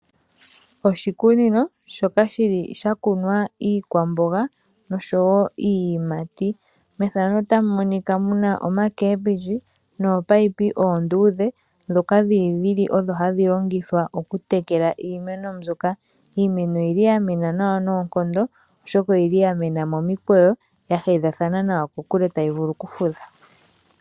Oshikunino shoka shili sha kunwa iikwamboga osho wo iiyimati, methano otamu monika mu na omakembindji noopaipi oondudhe, ndhoka dhili odho hadhi longithwa okutekela iimeno mbyoka. Iimeno oyili ya mena nawa noonkondo, oshoka oyili ya mena momikweyo ya hedhathana nawa kokule tayi vulu okufudha.